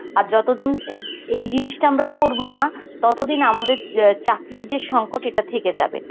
আর যতদিন এই, এই জিনিসটা আমরা করবো না ততদিন আমাদের অ্যাঁ চাকরির যে সংকট এটা থেকে যাবে.